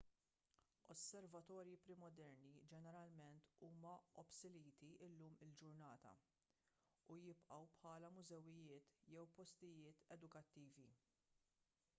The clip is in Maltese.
osservatorji pre-moderni ġeneralment huma obsoleti llum il-ġurnata u jibqgħu bħala mużewijiet jew postijiet edukattivi